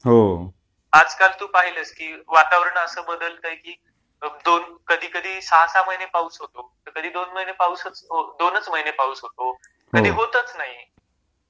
हो आजकाल तू पाहिलंस की वातावरण अस बदलतेय की... मग दोन कधी कधी सहा सहा महीने पाऊस होतो तर कधी दोन महीने पाऊस च दोनच महीने पाऊस होतो हो कधी होतच नाही.